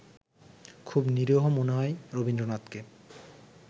খুব নিরীহ মনে হয় রবীন্দ্রনাথকে